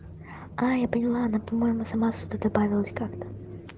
а я поняла она по-моему сама сюда добавилась как-то